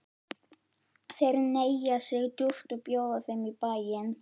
Þeir hneigja sig djúpt og bjóða þeim í bæinn.